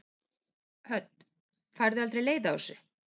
Hödd: Færðu aldrei leið á þessu?